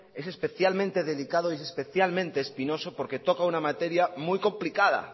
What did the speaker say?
es especialmente delicado y especialmente espinoso porque toca una materia muy complicada